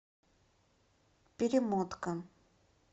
перемотка